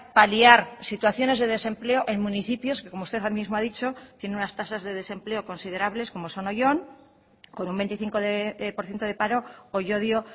paliar situaciones de desempleo en municipios que como usted mismo ha dicho tiene unas tasas de desempleo considerables como son oyón con un veinticinco por ciento de paro o llodio